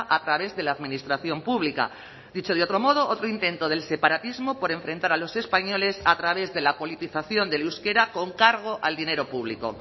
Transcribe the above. a través de la administración pública dicho de otro modo otro intento del separatismo por enfrentar a los españoles a través de la politización del euskera con cargo al dinero público